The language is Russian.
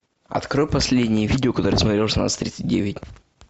открой последние видео которые я смотрел в шестнадцать тридцать девять